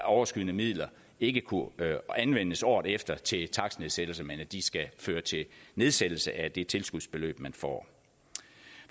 overskydende midler ikke kunne anvendes året efter til takstnedsættelser men at de skal føre til nedsættelse af det tilskudsbeløb man får